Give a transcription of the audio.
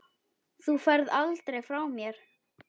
Þú ferð aldrei frá mér.